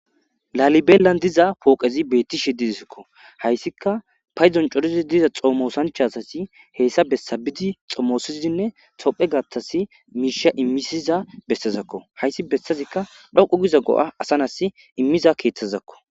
laalibeelan diza pooqezi beetti shidiizikko hayssika payzon corizi diza xoomoosanchasasi heessa bessabidi xommoosizinne tophe gattas miisha immisiza bessezakko hayssi bessazikka dhoqu giza go7a asanas immiza keeththezakko